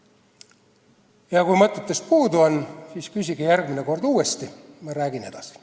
Ja kui mõtetest puudu on, siis küsige järgmine kord uuesti, ma räägin edasi.